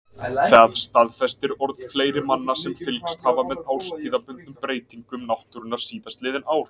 Það staðfestir orð fleiri manna sem fylgst hafa með árstíðabundnum breytingum náttúrunnar síðastliðin ár.